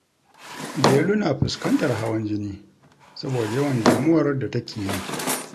Delu na fuskantar hawan jini saboda yawan damuwar da take yi